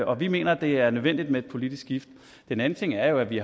og vi mener at det er nødvendigt med et politisk skift den anden ting er jo at vi